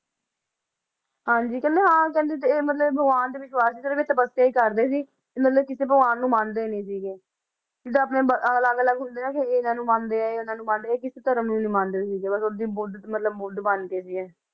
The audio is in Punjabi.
ਹਾਂਜੀ ਕਹਿੰਦੇ ਹਾਂ ਕਹਿੰਦੇ ਤੇ ਮਤਲਬ ਭਗਵਾਨ ਤੇ ਵਿਸਵਾਸ਼ ਸੀ ਸਿਰਫ਼ ਇੱਕ ਤਪੱਸਿਆ ਹੀ ਕਰਦੇ ਸੀ ਤੇ ਮਤਲਬ ਕਿਸੇ ਭਗਵਾਨ ਨੂੰ ਮੰਨਦੇ ਨੀ ਸੀਗੇ, ਜਿੱਦਾਂ ਆਪਣੇ ਬ~ ਅਲੱਗ ਅਲੱਗ ਹੁੰਦੇ ਆ ਨਾ ਕਿ ਇਹ ਇਹਨਾਂ ਨੂੰ ਮੰਨਦੇ ਆ ਇਹ ਇਹਨਾਂ ਨੂੰ ਮੰਨਦੇ ਆ ਇਹ ਕਿਸੇ ਧਰਮ ਨੂੰ ਨੀ ਮੰਨਦੇ ਸੀਗੇ ਬਸ ਓਦਾਂ ਹੀ ਬੁੱਧ ਮਤਲਬ ਬੁੱਧ ਬਣ ਗਏ ਸੀਗੇ।